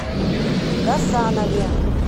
гасанове